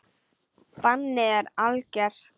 Bannið er algert.